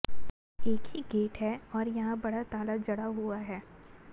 एक ही गेट है आैर यहां बड़ा ताला जड़ा हुआ है